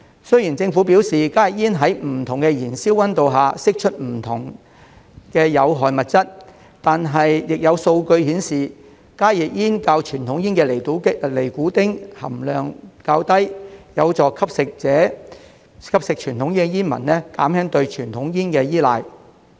雖然政府表示加熱煙在不同的燃燒溫度下會釋出不同的有害物質，但亦有數據顯示加熱煙較傳統煙的尼古丁含量低，有助吸食傳統煙的煙民減輕對傳統煙的依賴。